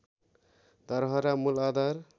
धरहरा मूल आधार